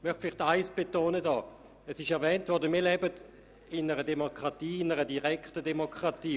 Folgendes möchte ich betonen: Wie bereits erwähnt wurde, leben wir in einer direkten Demokratie.